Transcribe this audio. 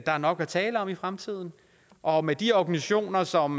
er nok at tale om i fremtiden og med de organisationer som